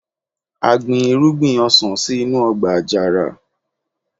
a gbin irúgbìn ọsàn sí inú ọgbà àjàrà